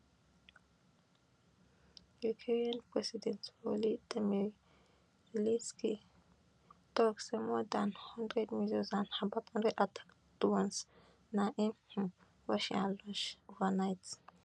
ukrainian president volodymyr zelensky tok say more dan hundred missiles and about hundred attack drones na im um russia launch overnight